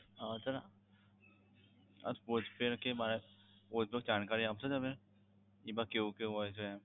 હા sir postpaid કે મારે કોઈપણ જાણકારી આપશો તમે એમાં કેવું કેવું હોય છે એમ?